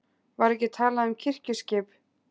Var ekki talað um kirkjuskip?